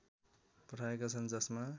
पठाएका छन् जसमा